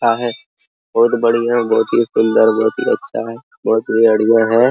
है बहुत बढ़िया बहुत ही सुंदर बहुत ही अच्छा है बहुत ही बढ़िया है।